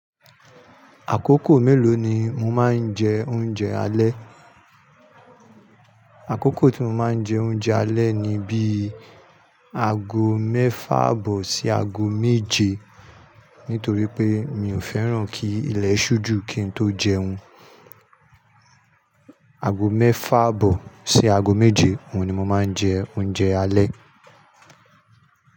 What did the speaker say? Àkókò mélòó ni mo máa ń jẹ oúnjẹ alẹ́. Àkókò tí mo máa ń jẹ oúnjẹ alẹ́ ni bíi ago mẹ́fà abọ̀ sí ago méje. Nítorí pé mi ò fẹ́ràn kí ilẹ̀ ṣú jù kí n tó jẹun. Ago mẹ́fà bọ̀ sí ago méje, òun ni mo máa ń jẹ oúnjẹ alẹ́